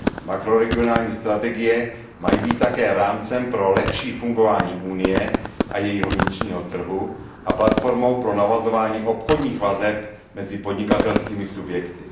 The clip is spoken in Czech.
Makroregionální strategie mají být také rámcem pro lepší fungování Unie a jejího vnitřního trhu a platformou pro navazování obchodních vazeb mezi podnikatelskými subjekty.